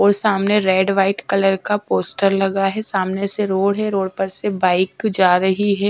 और सामने red white colour का पोस्टर लगा है सामने से रोड है रोड पर से बाइक जा रही है।